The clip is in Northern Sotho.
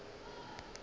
ge ke be ke sa